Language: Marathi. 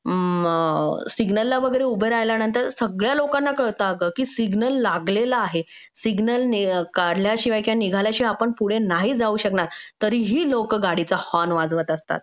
सिग्नल ला वगैरे उभे राहिल्यानंतर सगळ्या लोकांना कळतं की सिग्नल लागलेला आहे सिग्नल काढल्याशिवाय काय किंवा निघाल्याशिवाय आपण पुढे नाही जाऊ शकणार तरीही लोक गाडीचा हॉर्न वाजवत असतात